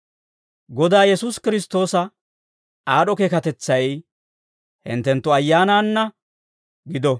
Godaa Yesuusi Kiristtoosa aad'd'o keekatetsay hinttenttu ayyaanaanna gido.